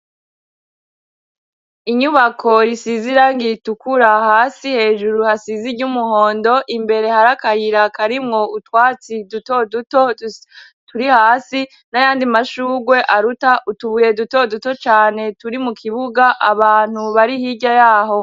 Inyubako Isiz'irangi ritukura hasi hejuru hasiziry'umuhondo imbere hari akayira karimwo utwatsi duto duto turi hasi, n'ayandi mashugwe aruta utubuye duto duto cane turi mu kibuga ,abantu bari hirya yaho.